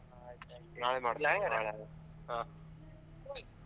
ಆಹ್ ಆಯ್ತ್ ಆಯ್ತು .